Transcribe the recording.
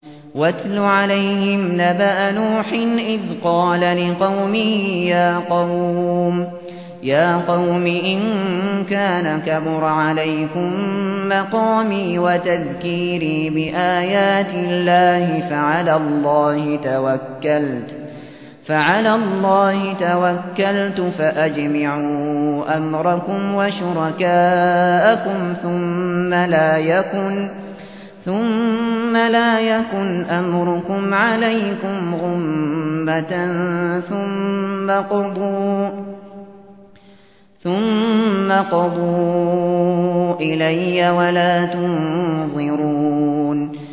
۞ وَاتْلُ عَلَيْهِمْ نَبَأَ نُوحٍ إِذْ قَالَ لِقَوْمِهِ يَا قَوْمِ إِن كَانَ كَبُرَ عَلَيْكُم مَّقَامِي وَتَذْكِيرِي بِآيَاتِ اللَّهِ فَعَلَى اللَّهِ تَوَكَّلْتُ فَأَجْمِعُوا أَمْرَكُمْ وَشُرَكَاءَكُمْ ثُمَّ لَا يَكُنْ أَمْرُكُمْ عَلَيْكُمْ غُمَّةً ثُمَّ اقْضُوا إِلَيَّ وَلَا تُنظِرُونِ